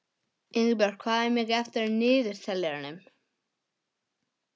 Ingibjört, hvað er mikið eftir af niðurteljaranum?